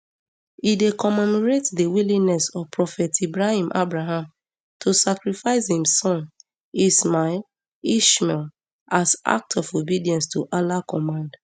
e dey commemorate di willingness of prophet ibrahim abraham to sacrifice im son ismail ishmael as act of obedience to allah command